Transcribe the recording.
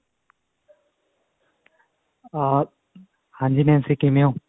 ਅਹ ਹਾਂਜੀ Nancy ਕਿਵੇਂ ਹੋ